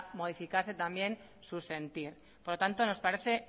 modificarse también su sentir por lo tanto nos parece